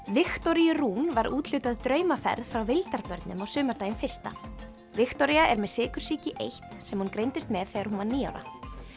Viktoríu Rún var úthlutað draumaferð frá Vildarbörnum á sumardaginn fyrsta Viktoría er með sykursýki eins sem hún greindist með þegar hún var níu ára